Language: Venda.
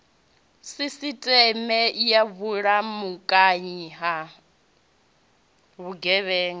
sisiteme ya vhulamukanyi ha vhugevhenga